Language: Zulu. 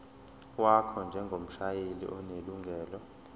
wakho njengomshayeli onelungelo